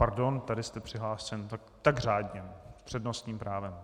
Pardon, tady jste přihlášen - tak řádně, s přednostním právem.